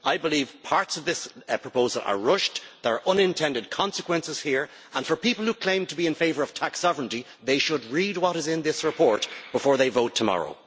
I believe parts of this proposal are rushed, there are unintended consequences here and, for people who claim to be in favour of tax sovereignty, they should read what is in this report before they vote tomorrow.